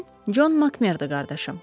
Mən Con Makmerdi qardaşım.